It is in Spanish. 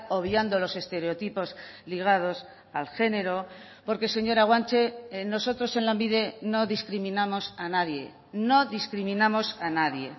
obviando los estereotipos ligados al género porque señora guanche nosotros en lanbide no discriminamos a nadie no discriminamos a nadie